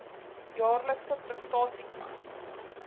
jaarlikse prestasie plan